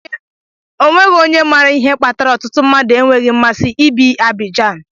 O nweghị onye maara ihe kpatara ọtụtụ mmadụ enweghị mmasị ibi Abidjan.